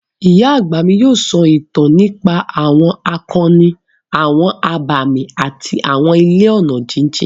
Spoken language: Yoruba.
Ìyá àgbà mi yóò sọ ìtàn nípa àwọn akọni, àwọn abàmì àti àwọn ilẹ̀ ọ̀nà jíjìn.